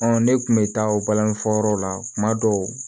ne kun bɛ taa o balani fɔ yɔrɔ la kuma dɔw